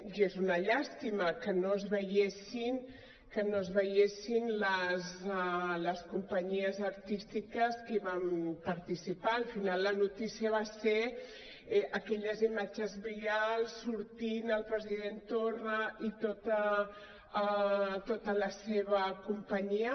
i és una llàstima que no es veiessin les companyies artístiques que hi van participar al final la notícia van ser aquelles imatges virals sortint el president torra i tota la seva companyia